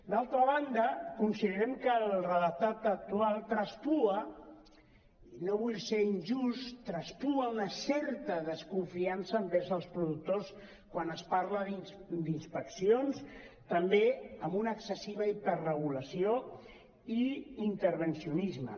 d’altra banda considerem que el redactat actual traspua i no vull ser injust traspua una certa desconfiança envers els productors quan es parla d’inspeccions també amb una excessiva hiperregulació i intervencionisme